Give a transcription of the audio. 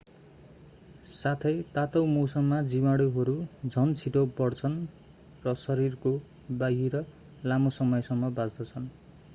साथै तातो मौसममा जीवाणुहरू झन छिटो बढ्छन् र शरीरको बाहिर लामो समयसम्म बाँच्दछन्